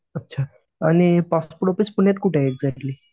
अच्छा आणि passport office पुण्यात कुठे आहे एक्झॅक्ट्ली?